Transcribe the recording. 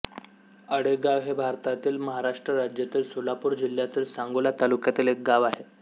आळेगाव हे भारतातील महाराष्ट्र राज्यातील सोलापूर जिल्ह्यातील सांगोला तालुक्यातील एक गाव आहे